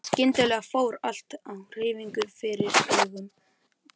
En skyndilega fór allt á hreyfingu fyrir augum drengsins.